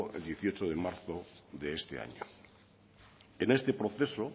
el dieciocho de marzo de este año en este proceso